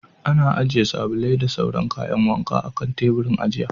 Ana ajiye sabulai da sauran kayan wanka a kan taburin ajiya.